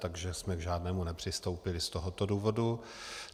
Takže jsme k žádnému nepřistoupili z tohoto důvodu.